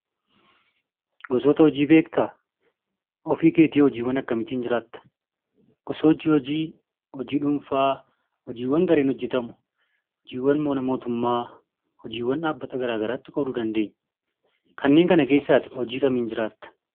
Gosoota hojii beektaa? Ofii keetii hoo hojiiwwan akkamiitiin jiraatta? Gosoonni hojii; hojii dhuunfaa, hojii gareen hojjetamu, hojiiwwan mana mootummaa, hojiiwwan dhaabbata gara garaatti qooduu dandeenya. Kanneen kana keessaa ati hojii kamiin jiraatta?